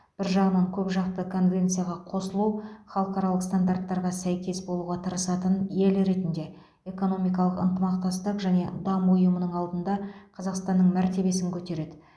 бір жағынан көпжақты конвенцияға қосылу халықаралық стандарттарға сәйкес болуға тырысатын ел ретінде экономикалық ынтымақтастық және даму ұйымының алдында қазақстанның мәртебесін көтереді